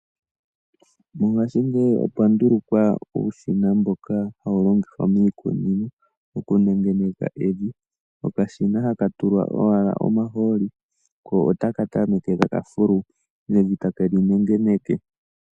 Mongaashingeyi opwa ndulukwa uushina mboka ha wu longithwa miikunino oku nengeneke evi, okashina ha ka tulwa owala omahooli ko otaka tameke takafulu evi ta ke linengeneke.